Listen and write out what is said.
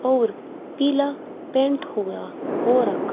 और पीला पेंट हो रखा।